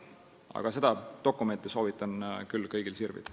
Aga seda dokumenti soovitan küll kõigil sirvida.